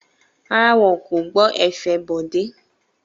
Rárá, wọn kò gbọ́ ẹ̀fẹ̀ Bọ̀dé.